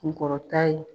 Kunkɔrɔta ye